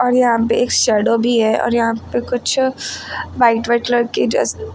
और यहां पे एक शैडो भी है और यहां पे कुछ व्हाइट व्हाइट कलर के जैसे--